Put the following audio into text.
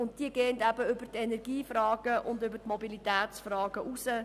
Sie geht über die Energie- und Mobilitätsfragen hinaus.